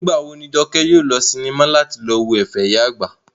Nígbà wo ni Jọkẹ́ yóò lọ sí sinimá láti lọ wo ẹ̀fẹ̀ ìyá àgbà?